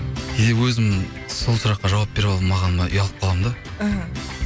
кейде өзім сол сұраққа жауап бере алмағаныма ұялып қаламын да іхі